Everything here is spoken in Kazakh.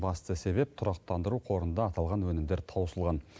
басты себеп тұрақтандыру қорында аталған өнімдер таусылған